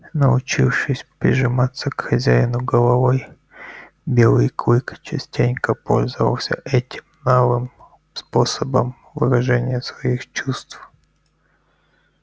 научившись прижиматься к хозяину головой белый клык частенько пользовался этим новым способом выражения своих чувств